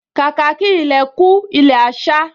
Kàkà kí ilẹ̀ kú, ilẹ̀ á sá